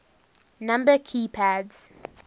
number key pads